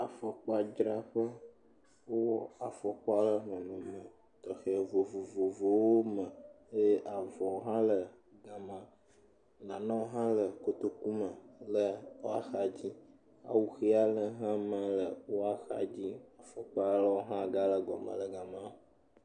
Afɔkpa dzra ƒe. Wo wɔ afɔkpawo ɖe xɔ me le nɔnɔme vovovowo me eye avɔ hã le ga ma. Nanewo hã le kotoku me eƒe axa dzi. Awu ʋi aɖe ha ma le woa xa dzi. Afɔkpawo hã aɖewo hã gale le gɔme le ga ma.